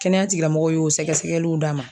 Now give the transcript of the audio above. Kɛnɛya tigilamɔgɔw y'o sɛgɛsɛgɛliw d'a ma